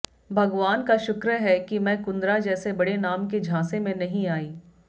भगवान का शुक्र है कि मैं कुंद्रा जैसे बड़े नाम के झांसे में नहीं आई